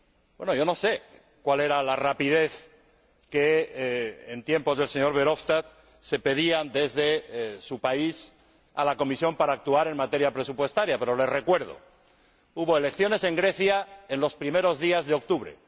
Bueno, yo no sé cuál era la rapidez que en tiempos del señor Verhofstadt se pedía desde su país a la Comisión para actuar en materia presupuestaria, pero le recuerdo que hubo elecciones en Grecia en los primeros días de octubre.